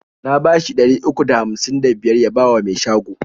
Na bashi ɗari uku da hamsin da biyar ya bawa mai shago.